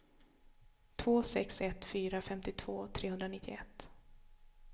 två sex ett fyra femtiotvå trehundranittioett